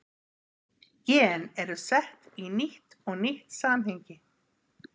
gen eru sett í nýtt og nýtt samhengi